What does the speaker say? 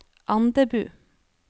Andebu